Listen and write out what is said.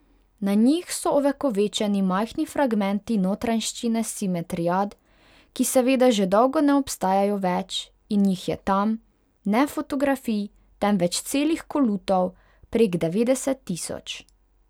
Na njih so ovekovečeni majhni fragmenti notranjščine simetriad, ki seveda že dolgo ne obstajajo več, in jih je tam, ne fotografij, temveč celih kolutov, prek devetdeset tisoč.